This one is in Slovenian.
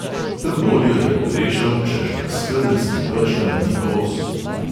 Tem bolj jo je pogrešal, češ da skedenjskim pečkam ni kos.